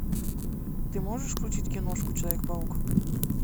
ты можешь включить киношку человек паук